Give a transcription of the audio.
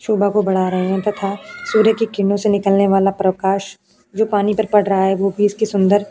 शोभा को बड़ा रहा है तथा सूर्य की किरणो से निकालने वाला प्रकाश जो पानी पर पड़ रहा है। वह भी उसकी सुंदर --